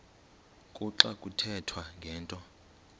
kuxa kuthethwa ngento